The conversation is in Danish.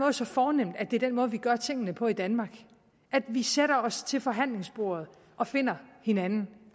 er så fornemt at det er den måde vi gør tingene på i danmark at vi sætter os til forhandlingsbordet og finder hinanden